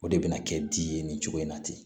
O de bɛna kɛ di ye nin cogo in na ten